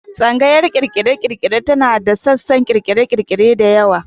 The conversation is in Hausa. Tsangayar ƙirƙire-ƙirƙire tana da sassan ƙirƙire-ƙirƙire da yawa.